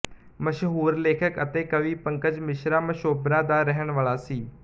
ਮਸ਼ਹੂਰ ਲੇਖਕ ਅਤੇ ਕਵੀ ਪੰਕਜ ਮਿਸ਼ਰਾ ਮਸ਼ੋਬਰਾ ਦਾ ਰਹਿਣ ਵਾਲਾਂ ਸੀ